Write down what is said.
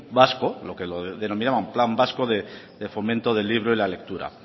vasco lo que denominaban plan vasco de fomento del libro y la lectura